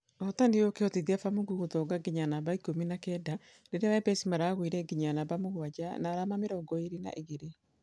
Ũhotani ũyũ ũkĩhotithia ba mungu gũthonga nginya namba ikũmi na kenda rĩrĩa wepesi maragũirenginya namba mũgwaja na arama mĩrongo ĩrĩ na igĩrĩ.